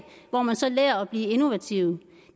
hvor man så lærer at blive innovativ